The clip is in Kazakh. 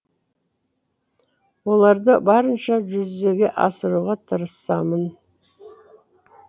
оларды барынша жүзеге асыруға тырысамын